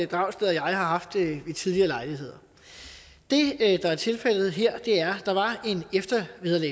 dragsted og jeg har haft ved tidligere lejligheder det der er tilfældet her er